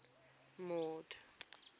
mord